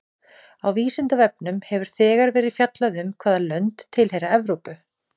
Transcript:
Á Vísindavefnum hefur þegar verið fjallað um hvaða lönd tilheyra Evrópu.